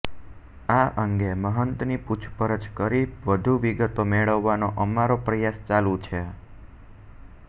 આ અંગે મહંતની પૂછપરછ કરી વધુ વિગતો મેળવવાનો અમારો પ્રયાસ ચાલુ છે